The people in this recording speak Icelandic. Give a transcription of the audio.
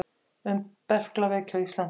Um berklaveiki á Íslandi.